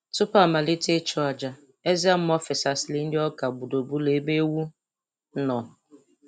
Tupu amalite ịchụ aja, eze mmụọ fesasịrị nri ọka gburugburu ebe ewu nọ